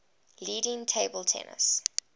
leading table tennis